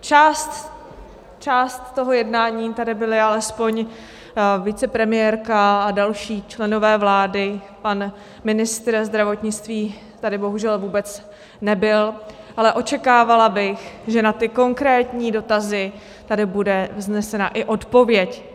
Část toho jednání tady byli alespoň vicepremiérka a další členové vlády, pan ministr zdravotnictví tady bohužel vůbec nebyl, ale očekávala bych, že na ty konkrétní dotazy tady bude vznesena i odpověď.